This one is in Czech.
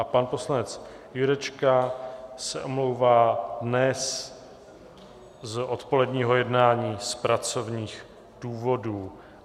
A pan poslanec Jurečka se omlouvá dnes z odpoledního jednání z pracovních důvodů.